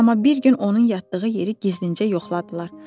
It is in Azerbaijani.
Amma bir gün onun yatdığı yeri gizlincə yoxladılar.